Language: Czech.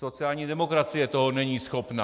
Sociální demokracie toho není schopna.